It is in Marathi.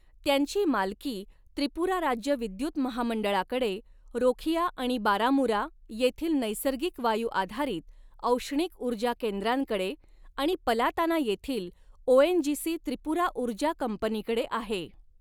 त्यांची मालकी त्रिपुरा राज्य विद्युत महामंडळाकडे, रोखिया आणि बारामुरा येथील नैसर्गिक वायू आधारित औष्णिक ऊर्जा केंद्रांकडे, आणि पलाताना येथील ओेएनजीसी त्रिपुरा ऊर्जा कंपनीकडे आहे.